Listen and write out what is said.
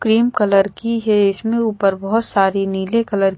cream colour की है इसमें ऊपर बहुत सारी नीले कलर --